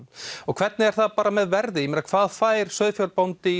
hvernig er það með verðið hvað fær sauðfjárbóndi